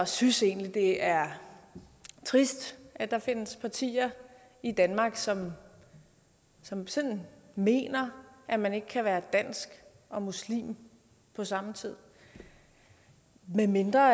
synes egentlig det er trist at der findes partier i danmark som som sådan mener at man ikke kan være dansk og muslim på samme tid medmindre